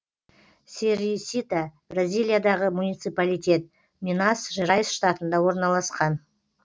серисита бразилиядағы муниципалитет минас жерайс штатында орналасқан